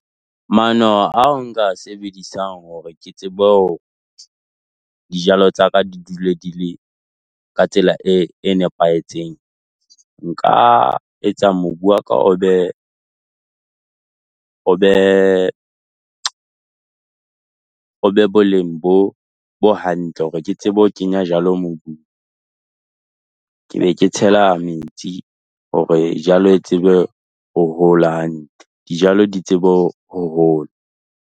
Maano ao nka a sebedisang hore ke tsebe dijalo tsa ka di dule di le ka tsela e e nepahetseng. Nka etsa mobu wa ka o be o be o be boleng bo bo hantle, hore ke tsebe ho kenya jalo mobung. Ke be ke tshela metsi hore jalo e tsebe ho hola hantle, dijalo di tsebe ho hola.